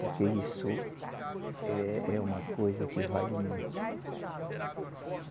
Porque isso é, é uma coisa que vale muito.